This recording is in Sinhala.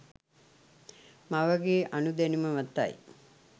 මවගේ අනුදැනුම මතයි